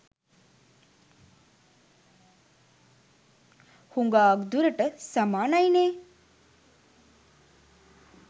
හුඟාක් දුරට සමානයිනෙ.